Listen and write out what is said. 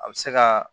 A bɛ se ka